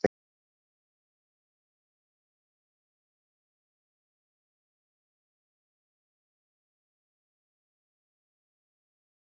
Lillý Valgerður: Lítið þið svo á að þessi ríkisstjórn hafi ennþá umboð þjóðarinnar?